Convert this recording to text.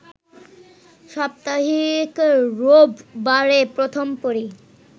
সাপ্তাহিক রোববারে প্রথম পড়ি